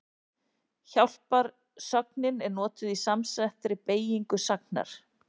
Hjálparsögnin er notuð í samsettri beygingu sagnar.